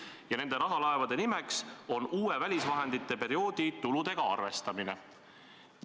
Ja nende rahalaevade nimeks on "Uue välisvahendite perioodi tuludega arvestamine".